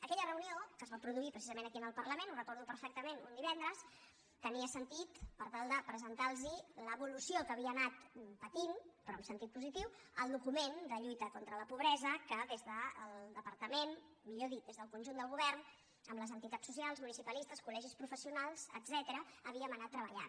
aquella reunió que es va produir precisament aquí en el parlament ho recordo perfectament un divendres tenia sentit per tal de presentarlos l’evolució que havia anat patint però en sentit positiu el document de lluita contra la pobresa que des del departament millor dit des del conjunt del govern amb les entitats socials municipalistes col·legis professionals etcètera havíem anat treballant